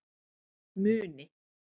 Muni